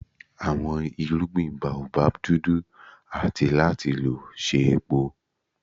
Awọn irugbin Baobab dudu ati lo lati ṣe epo.